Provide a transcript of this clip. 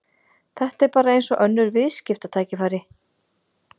Þetta er bara eins og önnur viðskiptatækifæri.